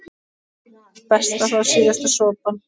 Best að fá síðasta sopann.